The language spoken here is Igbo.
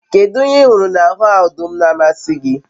kedu ihe ihuru n'ahu odum n'amasi gi?